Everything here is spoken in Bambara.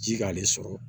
Ji k'ale sɔrɔ